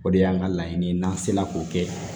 O de y'an ka laɲini ye n'an sera k'o kɛ